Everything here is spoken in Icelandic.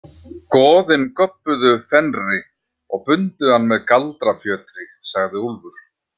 Goðin göbbuðu Fenri og bundu hann með galdrafjötri, sagði Úlfur.